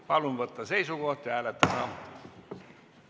Palun võtta seisukoht ja hääletada!